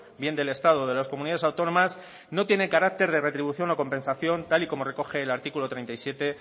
bien del estado o de las comunidades autónomas no tiene carácter de retribución o compensación tal y como recoge el artículo treinta y siete